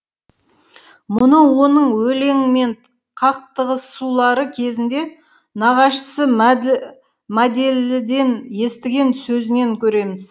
мұны оның өлеңмен қақтығысулары кезінде нағашысы мәді мәделіден естіген сөзінен көреміз